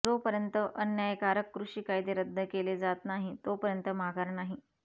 जोपर्यंत अन्यायकारक कृषी कायदे रद्द केले जात नाही तोपर्यंत माघार नाही